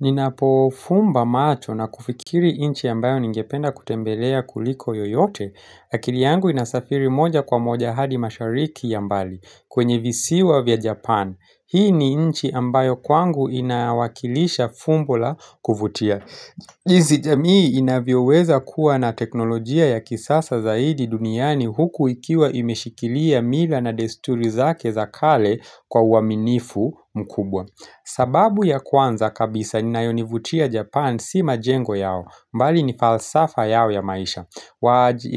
Ninapo fumba macho na kufikiri inchi ambayo ningependa kutembelea kuliko yoyote, akili yangu inasafiri moja kwa moja hadi mashariki ya mbali kwenye visiwa vya Japan. Hii ni inchi ambayo kwangu inawakilisha fumbu la kuvutia. Izi jamii inavyo weza kuwa na teknolojia ya kisasa zaidi duniani huku ikiwa imeshikilia mila na desturi zake za kale kwa uaminifu mkubwa sababu ya kwanza kabisa ni nayo nivutia Japan si majengo yao mbali ni falsafa yao ya maisha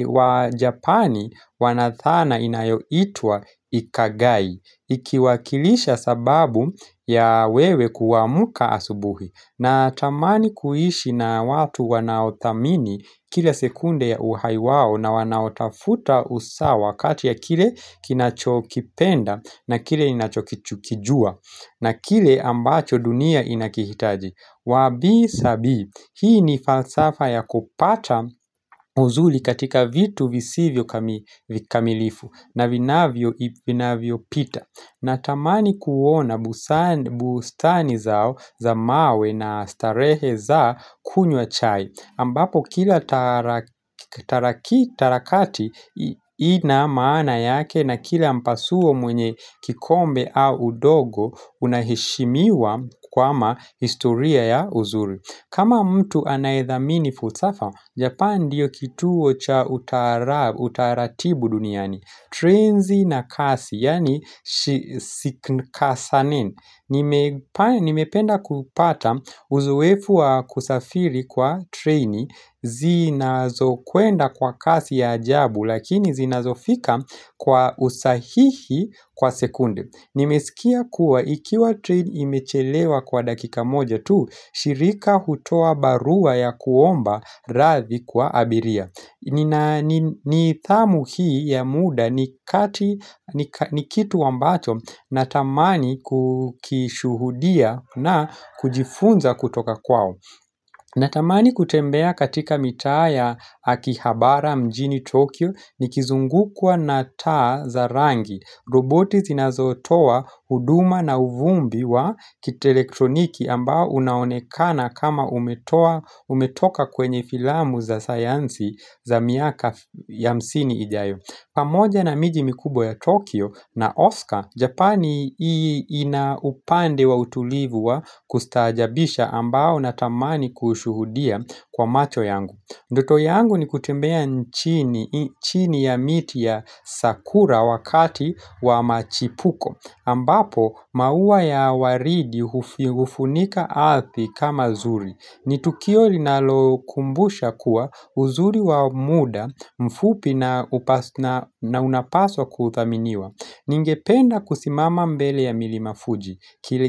wa Japani wana thana inayo itwa ikagai ikiwakilisha sababu ya wewe kuamuka asubuhi na tamani kuishi na watu wanao thamini kile sekunde ya uhai wao na wanaotafuta usawa kati ya kile kinachokipenda na kile inachokijua na kile ambacho dunia inakihitaji Wabi sabi hii ni falsafa ya kupata uzuli katika vitu visivyo kamili kamilifu na vinavyo vinavyo pita Natamani kuona busani, bustani zao za mawe na starehe za kunywa chai, ambapo kila tarakilishi taraki tarakati ina maana yake na kila mpasuo mwenye kikombe au udogo unaheshimiwa kwama historia ya uzuri. Kama mtu anaethamini futsafa, japan ndiyo kituo cha utara, utaratibu duniani. Trenzi na kasi, yani siknkasanin. Nimependa kupata uzoefu wa kusafiri kwa treni, zinazo kwenda kwa kasi ya ajabu, lakini zinazofika kwa usahihi kwa sekunde. Nimesikia kuwa ikiwa train imechelewa kwa dakika moja tu, shirika hutoa barua ya kuomba rathi kwa abiria. Nidhamu hii ya muda ni kati ni kitu ambacho natamani kukishuhudia na kujifunza kutoka kwao. Na tamani kutembea katika mitaa ya akihabara mjini Tokyo ni kizungukwa na taa za rangi. Roboti zinazotoa huduma na uvumbi wa kitelektroniki ambao unaonekana kama umetoa, umetoka kwenye filamu za sayansi za miaka ya hamsini ijayo. Pamoja na miji mikubwa ya Tokyo na Oscar, Japani inaupande wa utulivu wa kustaajabisha ambao na tamani kushuhudia kwa macho yangu Ndoto yangu ni kutembea nchini chini ya miti ya sakura wakati wa machipuko ambapo maua ya waridi hufunika ardhi kama zuri ni tukio linalo kumbusha kuwa uzuri wa muda mfupi na unapaswa kuthaminiwa Ningependa kusimama mbele ya milima fuji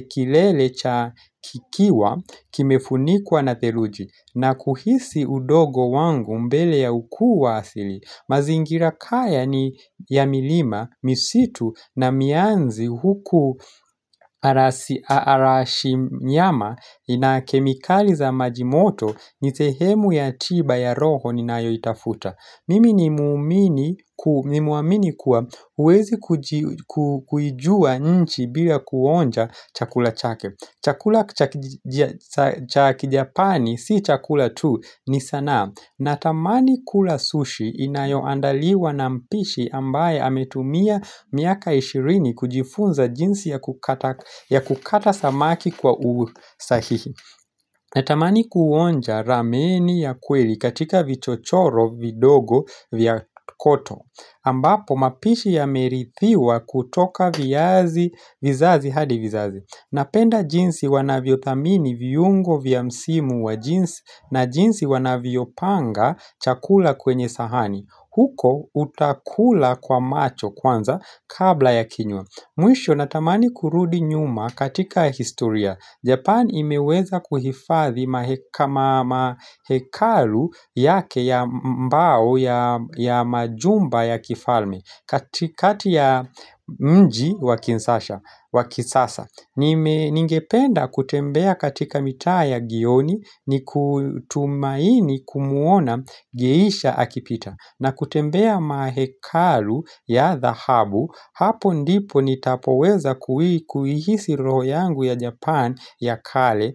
kilele cha kikiwa kimefunikuwa na theluji na kuhisi udogo wangu mbele ya ukuu wa asili mazingira kaya ni ya milima, misitu na mianzi huku arashi nyama ina kemikali za majimoto ni sehemu ya tiba ya roho ni nayo itafuta Mimi ni muumini, nimeamini kuwa huwezi kuijua nchi bila kuonja chakula chake Chakula cha kijapani si chakula tu ni sanaa.natamani kula sushi inayoandaliwa na mpishi ambaye ametumia miaka ishirini kujifunza jinsi ya kukata ya kukata samaki kwa usahihi. Natamani kuonja rameni ya kweli katika vichochoro vidogo vya koto ambapo mapishi yamerithiwa kutoka viazi vizazi hadi vizazi Napenda jinsi wanavyo thamini viungo vya msimu wa jinsi na jinsi wanavyo panga chakula kwenye sahani huko utakula kwa macho kwanza kabla ya kinywa Mwisho natamani kurudi nyuma katika historia. Japan imeweza kuhifadhi mahekalu yake ya mbao ya majumba ya kifalme katikati ya mji wa kinsasha, wa kisasa Ningependa kutembea katika mitaa ya gioni nikitumaini kumuona geisha akipita. Na kutembea mahekalu ya dhahabu, hapo ndipo nitapoweza kuhisi roho yangu ya Japan ya kale.